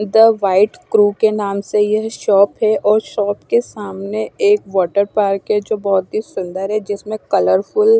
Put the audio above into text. the white crew के नाम से यह शॉप हैं और शॉप के सामने एक वाटर पार्क हैं जो बहुत ही सुंदर हैं जिसमे कलरफुल --